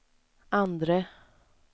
andre